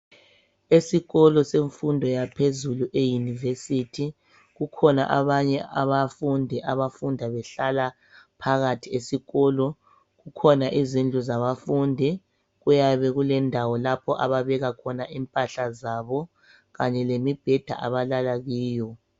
Esikolo senfundo yaphezulu eyinivesithi ,kukhona abanye abafundi abafunda behlala phakathi esikolo. Kukhona izindlu zabafundi, kuyabe kulendawo lapho ababekakhona impahla zabo kanye lemibheda abalala kiyo.